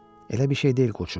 Elə bir şey deyil, qoçum.